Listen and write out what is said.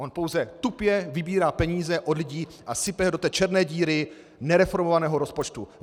On pouze tupě vybírá peníze od lidí a sype je do té černé díry nereformovaného rozpočtu.